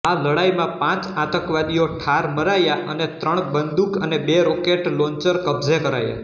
આ લડાઈમાં પાંચ આતંકવાદીઓ ઠાર મરાયા અને ત્રણ બંદુક અને બે રોકેટ લોન્ચર કબ્જે કરાયા